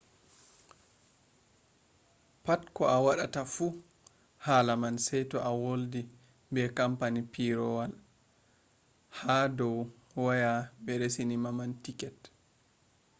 pat ko a waɗata fu hala man sey to a woldi be kampani pireewol man ha dow waya ɓe reesina ma tiket